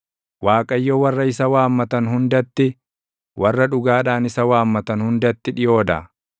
Waaqayyo warra isa waammatan hundatti, warra dhugaadhaan isa waammatan hundatti dhiʼoo dha.